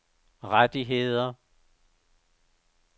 rettigheder